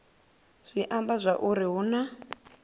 zwi amba zwauri hu na